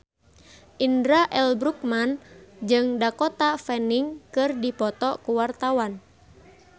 Indra L. Bruggman jeung Dakota Fanning keur dipoto ku wartawan